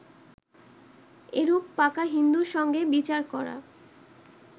এরূপ পাকা হিন্দুর সঙ্গে বিচার করা